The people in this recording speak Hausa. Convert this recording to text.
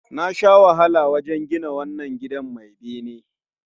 Na sha wahala wajen gina wannan gidan mai bene